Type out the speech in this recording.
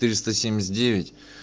триста семьдесят девять